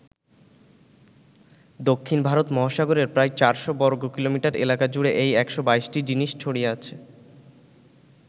দক্ষিণ ভারত মহাসাগরের প্রায় চারশো বর্গকিলোমিটার এলাকা জুড়ে এই ১২২টি জিনিস ছড়িয়ে আছে।